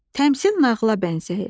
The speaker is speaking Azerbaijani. Təmsil nağıla bənzəyir.